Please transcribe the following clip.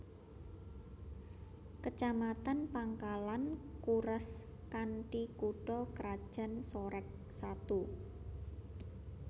Kecamatan Pangkalan Kuras kanthi kutha krajan Sorek Satu